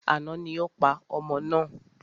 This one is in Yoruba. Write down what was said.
Àná ni o pa ọmọ náà.